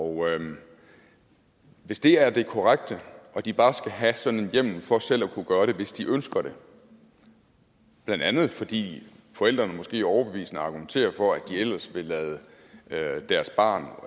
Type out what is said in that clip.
og hvis det er det korrekte at de bare skal have sådan en hjemmel for selv at kunne gøre det hvis de ønsker det blandt andet fordi forældrene måske overbevisende argumenterer for at de ellers ville lade lade deres barn